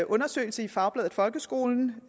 undersøgelse i fagbladet folkeskolen